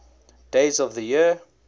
days of the year